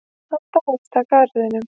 Hann dáðist að garðinum.